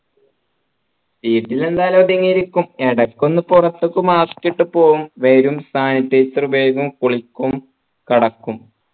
വീട്ടിൽ എന്തായാലും ഒതുങ്ങി ഇരിക്കും ഇടക്കൊന്ന് പുറത്തിക്ക് mask ഇട്ട് പോവും വരും sanitizer ഉപയോഗിക്കും കുളിക്കും കെടക്കും